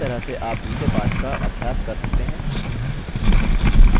इसी तरह से आप दूसरे पाठ का अभ्यास कर सकते हैं